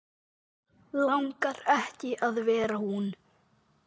Langar ekki að vera hún.